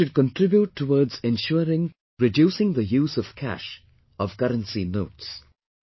We should contribute towards ensuring reducing the use of cash, of currency notes